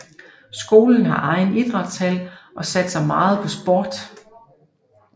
Skolen har egen idrætshal og satser meget på sport